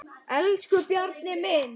Elsku Bjarni minn.